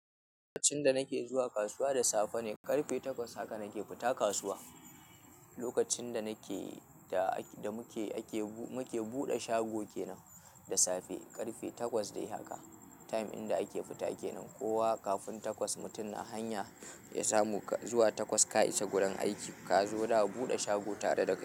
Lokacin da nake zuwa kasuwa da safe ne, ƙarfe takwas haka nake fita kasuwa. Lokacin da muke buɗe shago kenan da safe, ƙarfe takwas dai haka. Time din da ake fita kenan. Kowa kafin takwas mutum na hanya, ya samu zuwa takwas ka isa gurin aiki. Ka zo za a buɗe shago tare da kai.